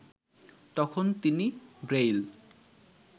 তখন তিনি ব্রেইল